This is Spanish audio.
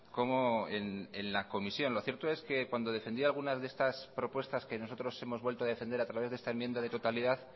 como en la comisión lo cierto es que cuando defendió algunas de estas propuestas que nosotros hemos vuelto a defender a través de esta enmienda de totalidad